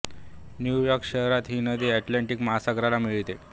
new York शहरात ही नदी अटलांटिक महासागराला मिळते